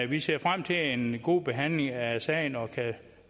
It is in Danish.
vi ser frem til en god behandling af sagen og kan